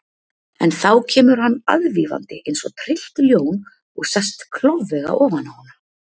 En þá kemur hann aðvífandi eins og tryllt ljón og sest klofvega ofan á hana.